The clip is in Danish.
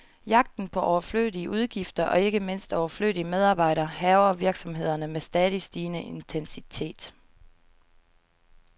Jagten på overflødige udgifter, og ikke mindst overflødige medarbejdere, hærger virksomhederne med stadig stigende intensitet.